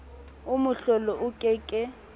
oo mohlolo o ke ke